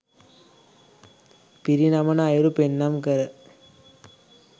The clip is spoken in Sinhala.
පිරිනමන අයුරු පෙන්නුම් කර